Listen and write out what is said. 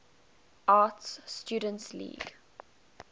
art students league